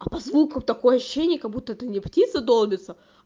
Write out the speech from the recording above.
а по звукам такое ощущение как-будто ты не птица долбится